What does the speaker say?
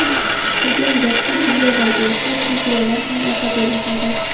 Turgan gapki, bunday vaziyatda chempionlar ham asabiylashadi.